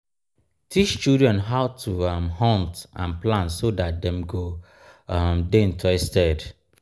teach children how to um hunt and plant so that dem go um de interested